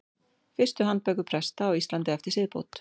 Fyrstu handbækur presta á Íslandi eftir siðbót.